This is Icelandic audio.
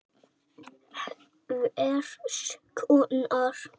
Hvers konar.